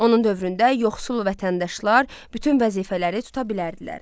Onun dövründə yoxsul vətəndaşlar bütün vəzifələri tuta bilərdilər.